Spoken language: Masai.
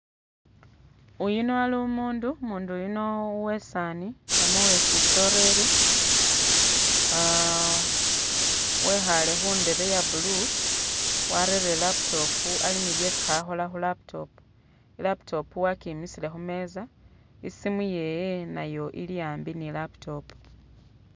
Uyuno ali umundu, umundu yuno uwe'saani namwe uwe'sisoreri ah wekhaale khundebe ya blue, warere laptop ali nibyesi khakhola khu'laptop, e'laptop wakimisile khumeeza, isimu yewe nayo ili a'mbi ni laptop